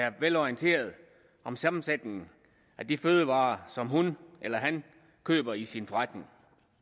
er velorienteret om sammensætningen af de fødevarer som hun eller han køber i sin forretning